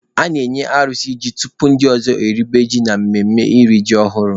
A na-enye alụsị ji tupu ndị ọzọ eribe ji na mmemme iri ji ọhụrụ.